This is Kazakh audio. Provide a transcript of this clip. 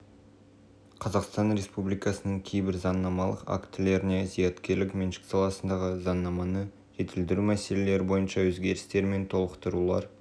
қазақстан республикасының кейбір заңнамалық актілеріне зияткерлік меншік саласындағы заңнаманы жетілдіру мәселелері бойынша өзгерістер мен толықтырулар